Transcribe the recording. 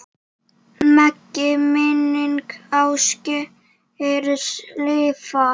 Megi minning Ásgeirs lifa.